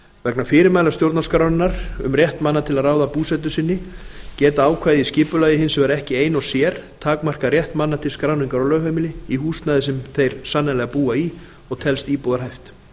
vegna fyrirmæla stjórnarskrárinnar um rétt manna til að ráða búsetu sinni geta ákvæði í skipulagi hins vegar ekki ein og sér takmarkað rétt manna til skráningar á lögheimili í húsnæði sem þeir sannanlega búa í og telst íbúðarhæft